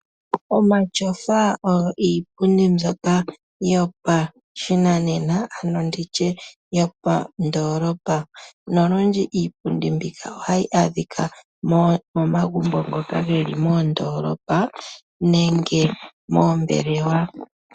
Omatyofa oyo iipundi mbyoka yopashinanena, nenge yopandoolopa. Iipundi mbika ohayi adhika momagumbo ngoka geli modoolopa nenge moombelewa.